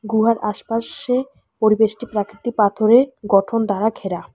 গুহার আশপাশে পরিবেশটি প্রাকৃতি পাথরে গঠন দ্বারা ঘেরা।